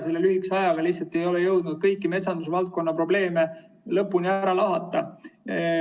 Selle lühikese ajaga lihtsalt ei ole jõudnud kõiki metsandusvaldkonna probleeme lõpuni ära lahata.